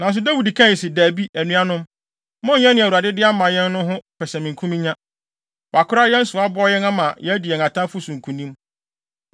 Nanso Dawid kae se, “Dabi, anuanom! Monnyɛ nea Awurade de ama yɛn no ho pɛsɛmenkominya. Wakora yɛn so, aboa yɛn ama yɛadi yɛn atamfo so nkonim.